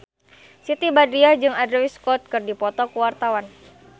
Siti Badriah jeung Andrew Scott keur dipoto ku wartawan